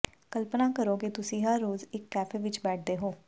ਕਲਪਨਾ ਕਰੋ ਕਿ ਤੁਸੀਂ ਹਰ ਰੋਜ਼ ਇਕ ਕੈਫੇ ਵਿਚ ਬੈਠਦੇ ਹੋ